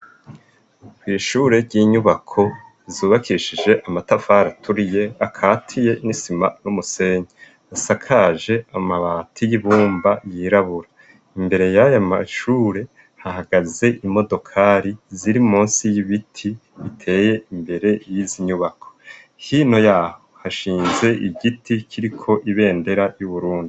Kwishure ry'inyubako zubakishije amatafari aturiye akatiye n'isima n'umusenyi. Isakaje amabati y'ibumba yirabura . Imbere y'ayo mashure, hahagaze imodokari ziri munsi y'ibiti biteye imbere y'izi nyubako. Hino yaho hashinze igiti kiriko ibendera y'Uburundi.